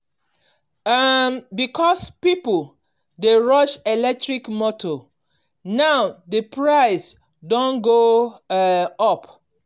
um because people dey rush electric motor now the price don go um up.